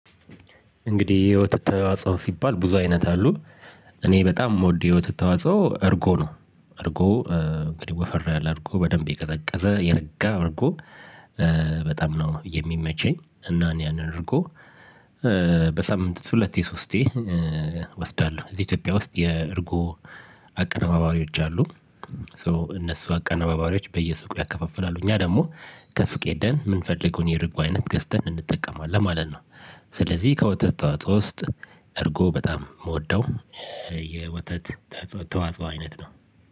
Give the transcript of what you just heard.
እንግዲህ የህይወት ተዋጽኦ ሲባል ብዙ አይነት አሉ። እኔ በጣም የምወደው የተት ተዋጽኦ እርጎ ነው እርጎ እንግዲህ ወፈራ ያለ እርጎ በደንብ የቀዘቀዘ የረጋ እርጎ በጣም ነው የሚመቸኝ እና እኔ ያንን እርጎ በሳምንት ሁለት ሶስቴ እወስዳለሁ። እዚህ ኢትዮጵያ ውስጥ የእርጎ አቀናባሪዎች አሉ ሶ እነሱ አቀነባባሪዎች በየሱቁ ያከፋፍላሉ እኛ ደግሞ ከሱቅ ሄደን የምንፈልገውን የርጉ አይነት ገዝተን እንጠቀማለን ማለት ነው። ስለዚህ ከወተት ተዋጻኦ ውስጥ እርጎ በጣም የምወደው የወተት ተዋጽኦ አይነት ነው።